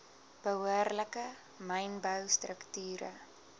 behoorlike mynbou strukture